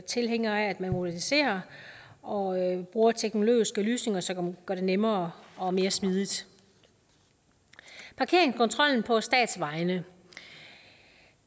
tilhængere af at man moderniserer og bruger teknologiske løsninger som gør det nemmere og mere smidigt parkeringskontrollen på statsvejene